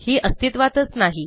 ही अस्तित्वातच नाही